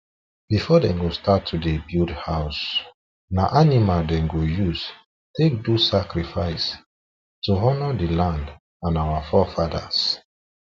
before them start to to dey build house na animal them go use take do sacrifice to honour the land and our forefathers